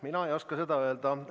Mina ei oska seda öelda.